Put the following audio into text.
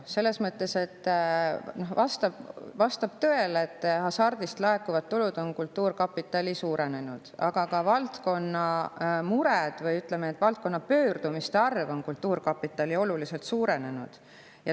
Vastab tõele, et hasart laekuvad tulud on kultuurkapitalil suurenenud, aga ka valdkonna mured, või ütleme, valdkonna pöördumiste arv kultuurkapitali poole on oluliselt suurenenud.